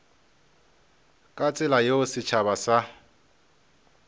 ka tsela yeo setšhaba sa